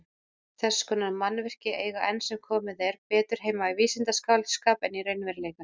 Þess konar mannvirki eiga enn sem komið er betur heima í vísindaskáldskap en í raunveruleikanum.